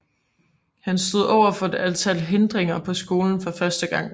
Han stod over for et antal hindringer på skolen for første gang